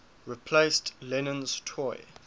replaced lennon's toy